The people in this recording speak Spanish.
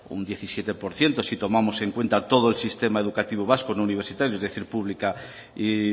un diecisiete por ciento si tomamos en cuenta todo el sistema educativo vasco no universitario es decir pública y